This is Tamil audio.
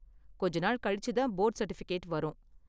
கொஞ்ச நாள் கழிச்சு தான் போர்டு சர்டிபிகேட் வரும்.